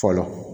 Fɔlɔ